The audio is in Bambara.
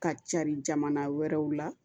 Ka cari jamana wɛrɛw la